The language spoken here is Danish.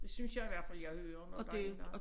Det synes jeg i hvert fald jeg hører nogen gange